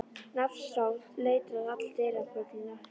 Nafn sem stóð letrað á allar dyrabjöllur.